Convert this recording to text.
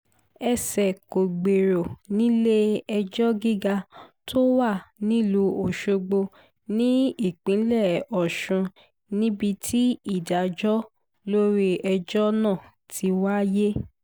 ẹsẹ̀ kò gbèrò nílé-ẹjọ́ gíga tó wà nílùú ọ̀ṣọ́gbó nípínlẹ̀ ọ̀sùn níbi tí ìdájọ́ lórí ẹjọ́ náà ti wáyé